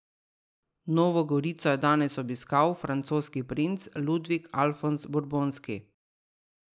Novo Gorico je danes obiskal francoski princ Ludvik Alfonz Burbonski.